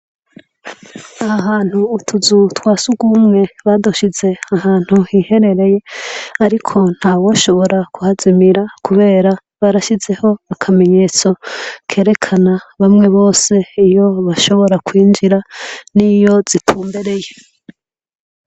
Aha hantu utuzu twa surwumwe badushize ahantu hiherereye. Ariko ntawoshobora kuhazimira kubera barashizeho akamenyetso kerekana bamwe bose iyo bashobora kwinjira niyo zitumbereye.